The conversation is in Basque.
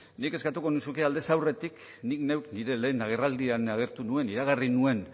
nik eskatuko nizuke aldez aurretik nik neuk nire lehen agerraldian agertu nuen iragarri nuen